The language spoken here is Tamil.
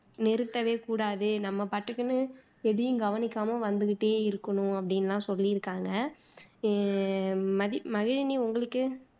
நிறுத்தவே கூடாது நம்ம பாட்டுக்குன்னு எதையும் கவனிக்காம வந்துகிட்டே இருக்கணூம் அப்படின்னு எல்லாம் சொல்லியிருக்காங்க அஹ் மதிவதனி உங்களுக்கு